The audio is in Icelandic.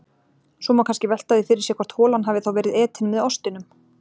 Svo má kannski velta því fyrir sér hvort holan hafi þá verið etin með ostinum.